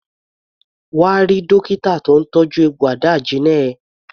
Come and see the doctor treating your wound.